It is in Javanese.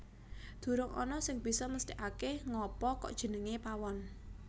Durung ana sing bisa mesthekake ngapa kok jenengé Pawon